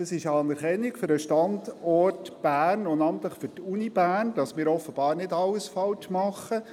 Es ist eine Anerkennung für den Standort Bern und namentlich für die Universität Bern, dahingehend, dass wir offenbar nicht alles falsch machen.